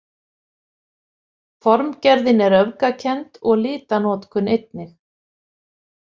Formgerðin er öfgakennd og litanotkun einnig.